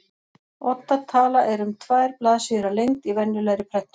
Odda tala er um tvær blaðsíður að lengd í venjulegri prentun.